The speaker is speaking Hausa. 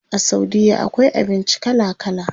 A saudiya akwai abinci kala kala.